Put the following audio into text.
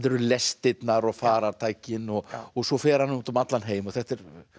lestirnar og farartækin og svo fer hann út um allan heim þetta er